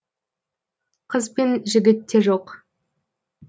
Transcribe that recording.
қыз бен жігіт те жоқ